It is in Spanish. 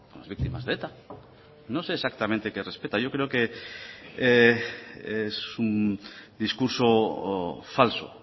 las víctimas de eta no sé exactamente qué respeta yo creo que es un discurso falso